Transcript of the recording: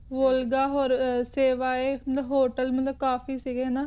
ਤੇ ਹੋਟਲ ਕਾਫੀ ਸੀ ਗੇ